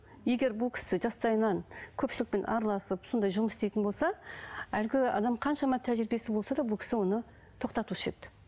егер бұл кісі жастайынан көпшілікпен араласып сондай жұмыс істейтін болса әлгі адамның қаншама тәжірибесі болса да бұл кісі оны тоқтатушы еді